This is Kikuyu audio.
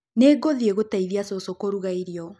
Nĩgũthiĩ kũteithia cũcũ kũruga irĩo